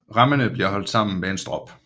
Remmene bliver holdt sammen med en strop